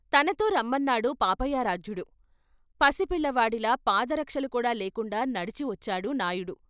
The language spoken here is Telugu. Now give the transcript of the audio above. తనతో రమ్మన్నాడు పాపయారాధ్యుడు పసిపిల్లవాడిలా పాదరక్షలు కూడా లేకుండా నడిచి వచ్చాడు నాయుడు.